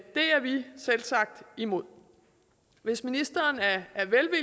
er vi selvsagt imod hvis ministeren